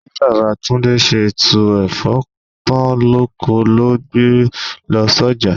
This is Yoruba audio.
Bí Baba Túndé ṣe tú Ẹ̀fọ́ tán lóko ló gbe lọ s'oja.